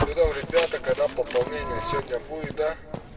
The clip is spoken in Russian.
что там ребята когда пополнение сегодня будет да